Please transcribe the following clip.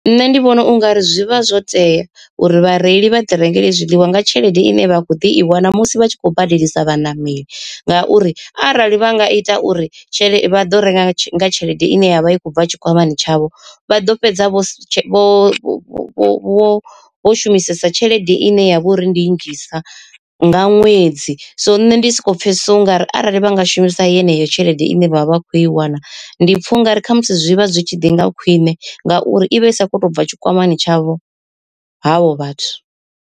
Nṋe ndi vhona ungari zwi vha zwo tea uri vhareili vha ḓi rengele zwiḽiwa nga tshelede ine vha khou ḓi i wana musi vha tshi khou badelisa vhaṋameli, ngauri arali vha nga ita uri tshelede vha ḓo renga nga tshelede ine ya vha i khou bva tshikwamani tshavho vha ḓo fhedza vho vho vho shumisesa tshelede ine ya vha uri ndi nnzhisa nga ṅwedzi. So nṋe ndi soko pfhesesa ungari arali vha nga shumisa yeneyo tshelede ine vha vha vha khou i wana ndi pfa ungari khamusi zwi vha zwi tshi ḓi nga khwine ngauri i vha i sa kho to bva tshikwamani tshavho havho vhathu.